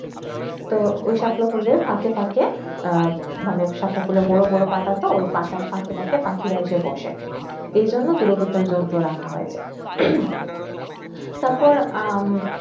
তো ঐই সাপলাখুলের ফাকে ফাকে মনে সাপলাখুলের বড় বড় পাট আসে তো ঐই পাটের পাশে পাশে পাখিরা আসে বসে এইজন্য দূরবীক্ষণ যন্ত্র রাখা হইএসে তারপ উম